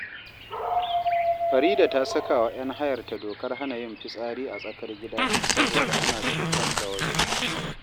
Farida ta saka wa ‘yan hayarta dokar hana yin fitsari a tsakar gida saboda ana cutar da wasu